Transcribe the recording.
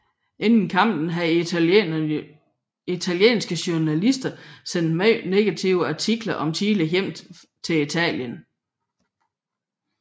Inden kampen havde italienske journalister sendt meget negative artikler om Chile hjem til Italien